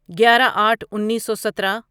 گیارہ آٹھ انیسو سترہ